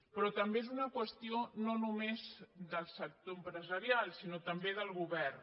però també és una qüestió no només del sector empresarial sinó també del govern